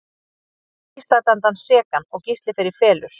Þeir fá Gísla dæmdan sekan og Gísli fer í felur.